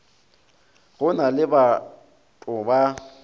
go na le bato ba